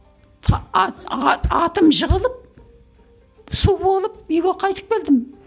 атым жығылып су болып үйге қайтып келдім